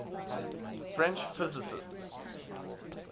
french physicists